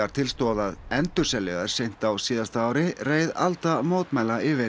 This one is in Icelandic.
til stóð að endurselja þær seint á síðasta ári reið alda mótmæla yfir